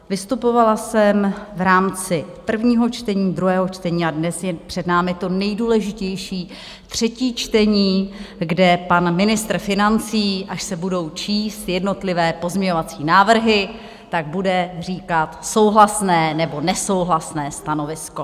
Vystupovala jsem v rámci prvního čtení, druhého čtení a dnes je před námi to nejdůležitější, třetí čtení, kde pan ministr financí, až se budou číst jednotlivé pozměňovací návrhy, tak bude říkat souhlasné nebo nesouhlasné stanovisko.